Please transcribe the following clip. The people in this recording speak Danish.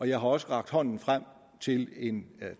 jeg har også rakt hånden frem til en